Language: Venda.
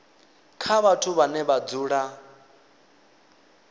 kha vhathu vhane vha dzula